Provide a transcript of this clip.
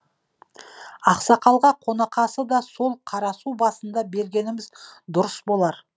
ақсақалға қонақасыны да сол қарасу басында бергеніміз дұрыс болар